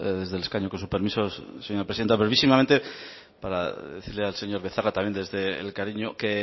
desde el escaño con su permiso señora presidenta brevísimamente para decirle al señor becerra también desde el cariño que